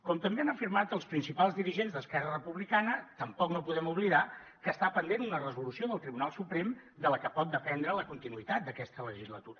com també han afirmat els principals dirigents d’esquerra republicana tampoc no podem oblidar que està pendent una resolució del tribunal suprem de la que pot dependre la continuïtat d’aquesta legislatura